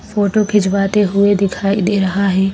Photo खिंचवाते हुए दिखाई दे रहा है।